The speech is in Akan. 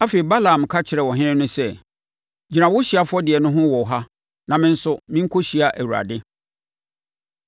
Afei, Balaam ka kyerɛɛ ɔhene no sɛ, “Gyina wo ɔhyeɛ afɔdeɛ no ho wɔ ha na me nso merekɔhyia Awurade.”